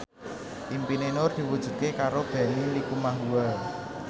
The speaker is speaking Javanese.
impine Nur diwujudke karo Benny Likumahua